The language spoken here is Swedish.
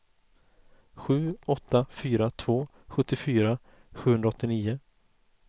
sju åtta fyra två sjuttiofyra sjuhundraåttio